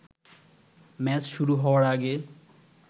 match শুরু হওয়ার আগে